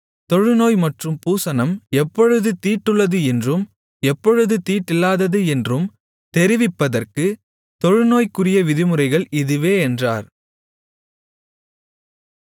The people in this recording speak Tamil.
தொழுநோய் மற்றும் பூசணம் எப்பொழுது தீட்டுள்ளது என்றும் எப்பொழுது தீட்டில்லாதது என்றும் தெரிவிப்பதற்கு தொழுநோய்க்குரிய விதிமுறைகள் இதுவே என்றார்